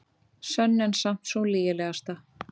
Sönn en samt sú lygilegasta.